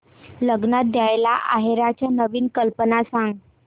लग्नात द्यायला आहेराच्या नवीन कल्पना सांग